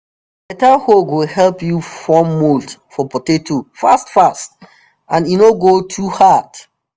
beta hoe go help you form mould for potato fast fast and e no no go too hard